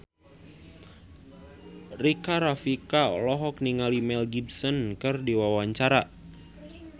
Rika Rafika olohok ningali Mel Gibson keur diwawancara